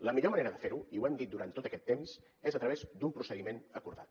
la millor manera de ferho i ho hem dit durant tot aquest temps és a través d’un procediment acordat